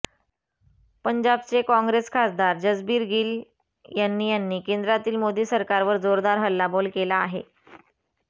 पंजाबचे काँग्रेस खासदार जसबीर गिल यांनी यांनी केंद्रातील मोदी सरकारवर जोरदार हल्लाबोल केला आहे